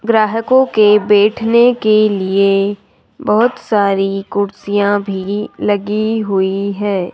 ग्राहकों के बैठने के लिए बोहोत सारी कुर्सियां भी लगी हुई है।